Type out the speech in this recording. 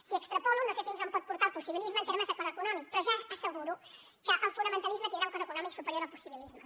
si extrapolo no sé fins on pot portar el possibilisme en termes de cost econòmic però ja asseguro que el fonamentalisme tindrà un cost econòmic superior al possibilisme